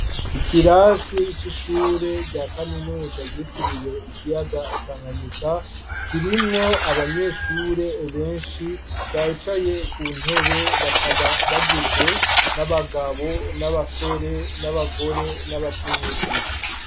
Ikirasi c'ishure rya kaminuza, ryitiriwe ikiyaga Tanganyika, kirimwo abanyeshure benshi, bicaye ku ntebe, bakaba bagizwe n'abagabo, n'abasore, n'abagore, n'abakenyezi.